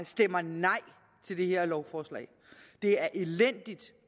stemmer nej til det her lovforslag det er elendigt